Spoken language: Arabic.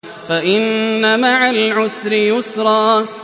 فَإِنَّ مَعَ الْعُسْرِ يُسْرًا